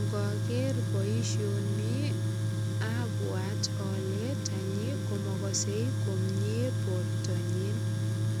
Ngoger boisioni abwat ale tanyi komagasei komie bortanyin.